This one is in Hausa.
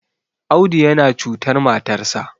Audu yana cutar matarsa